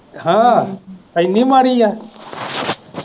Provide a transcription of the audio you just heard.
ਹਾਂ ਐਨੀ ਮਾੜੀ ਆ।